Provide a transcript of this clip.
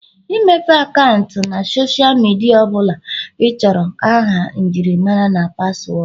ịmepụta akaụntụ na Sọsha midia ọ bụla ịchọrọ aha njirimara na paswọọdụ